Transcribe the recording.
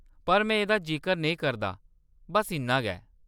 पर में एह्‌‌‌दा जिकर नेईं करदा, बस्स इन्ना गै।